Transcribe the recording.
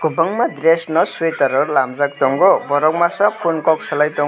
kbangma dress nw sui tare lamjaak tongo borok maasa phune kok salai tng.